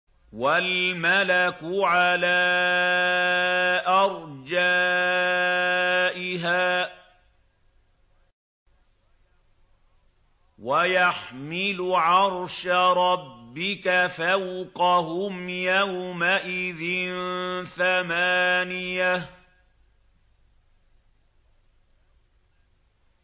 وَالْمَلَكُ عَلَىٰ أَرْجَائِهَا ۚ وَيَحْمِلُ عَرْشَ رَبِّكَ فَوْقَهُمْ يَوْمَئِذٍ ثَمَانِيَةٌ